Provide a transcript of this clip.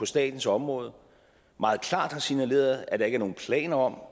statens område meget klart har signaleret at der ikke er nogen planer om